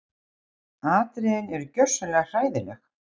Atriðin eru gjörsamlega hræðileg